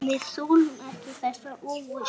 Við þolum ekki þessa óvissu.